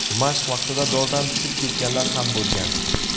Mashq vaqtida dordan tushib ketganlar ham bo‘lgan .